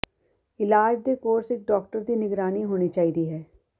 ਇਲਾਜ ਦੇ ਕੋਰਸ ਇੱਕ ਡਾਕਟਰ ਦੀ ਨਿਗਰਾਨੀ ਹੋਣੀ ਚਾਹੀਦੀ ਹੈ